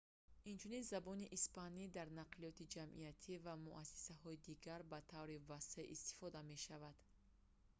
инчунин забони испанӣ дар нақлиёти ҷамъиятӣ ва муассисаҳои дигар ба таври васеъ истифода мешавад